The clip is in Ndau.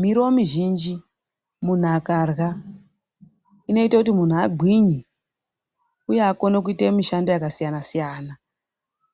Miriwo mizhinji muntu akarya, ineite kuti muntu agwinye. Uye akone kuite mishando yakasiyana siyana .